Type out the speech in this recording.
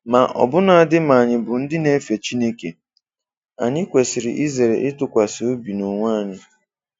Ma ọbụnadị ma anyị bụ ndị na-efe Chineke, anyị kwesiri izere ịtụkwasị obi n'onwe anyị.